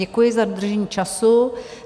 Děkuji za dodržení času.